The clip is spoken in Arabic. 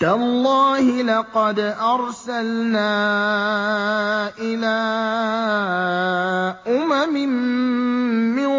تَاللَّهِ لَقَدْ أَرْسَلْنَا إِلَىٰ أُمَمٍ مِّن